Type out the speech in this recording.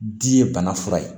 Di ye bana fura ye